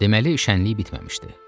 Deməli, şənliyi bitməmişdi.